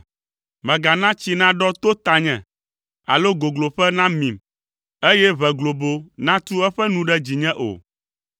Mègana tsi naɖɔ to tanye, alo gogloƒe namim, eye ʋe globo natu eƒe nu ɖe dzinye o.